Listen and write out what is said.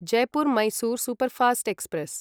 Jaipur Mysore superfast express